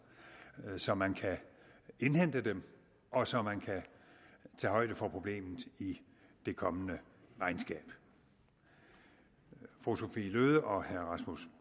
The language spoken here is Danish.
så man kan indhente dem og så man kan tage højde for problemet i det kommende regnskab fru sophie løhde og herre rasmus